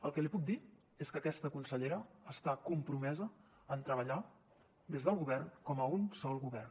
el que li puc dir és que aquesta consellera està compromesa en treballar des del govern com a un sol govern